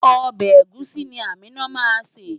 Ọbẹ̀ ẹ̀gúsí ni Amina máa ṣè.